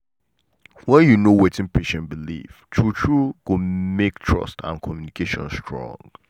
when you know wetin patient believe true true go make trust and communication strong.